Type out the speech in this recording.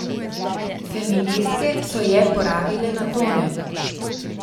Feministke so je porabile na tone!